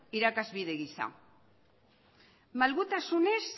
irakasbide gisa malgutasunez